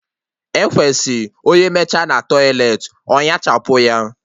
Ekwesị onye mechaa na tọiletị ọ ñachapụ ya